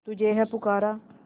तुझे है पुकारा